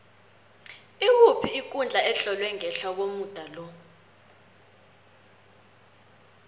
ikuphi ikundla etlolwe ngehla komuda lo